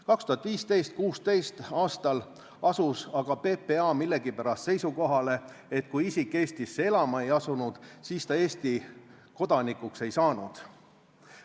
2015.–2016. aastal asus aga PPA millegipärast seisukohale, et kui isik Eestisse elama ei asunud, siis ta Eesti kodanikuks ei saanud.